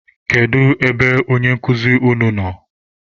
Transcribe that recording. Kedu ebe onye nkụzi unu nọ?